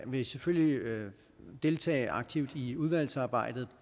vil selvfølgelig deltage aktivt i udvalgsarbejdet